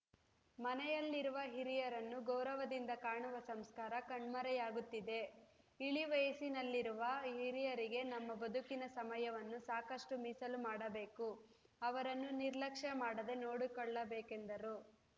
ಮನೆಯಲ್ಲಿರುವ ಹಿರಿಯರನ್ನು ಗೌರವದಿಂದ ಕಾಣುವ ಸಂಸ್ಕಾರ ಕಣ್ಮರೆಯಾಗುತ್ತಿದೆ ಇಳಿ ವಯಸ್ಸಿಯನಲ್ಲಿರುವ ಹಿರಿಯರಿಗೆ ನಮ್ಮ ಬದುಕಿನ ಸಮಯವನ್ನು ಸಾಕಷ್ಟುಮಿಸಲು ಮಾಡಬೇಕು ಅವರನ್ನು ನಿರ್ಲಕ್ಷ್ಯ ಮಾಡದೆ ನೋಡಿಕೊಳ್ಳಬೇಕೆಂದರು